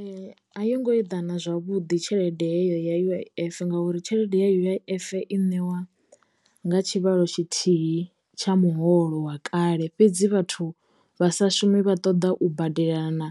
Ee a yo ngo eḓana zwavhuḓi tshelede heyo ya U_I_F ngauri tshelede ya U_I_F i ṋewa nga tshivhalo tshithihi tsha muholo wa kale fhedzi vhathu vhasashumi vha ṱoḓa u badelela na